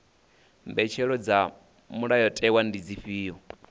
mbetshelo dza mulayotewa ndi dzifhio